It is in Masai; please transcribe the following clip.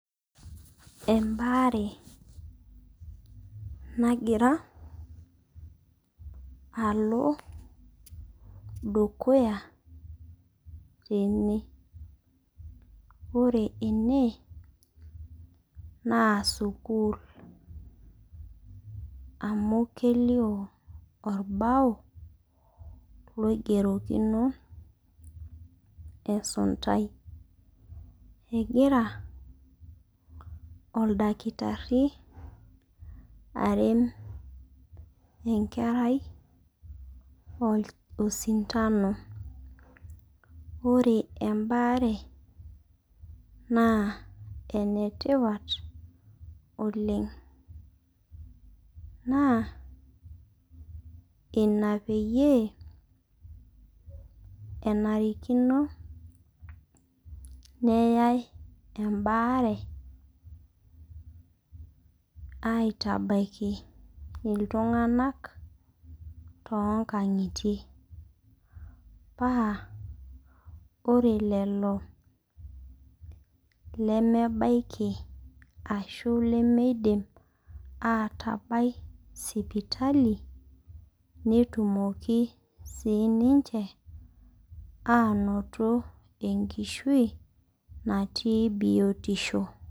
Embaare nagira alo dukuya tena ore ene naa sukuul amu Kelso olbao loigerokino esuntai egira oldakitari are enkerai osintano ore embaare naa enetipat oleng naa ina peyie enarikino nayae embaare atabaiki itung'anak too nkang'itie paa ore lelo lemebaiki ashu lemeidim atabau sipatali netumoki sii niche anoto enkishu natii biotisho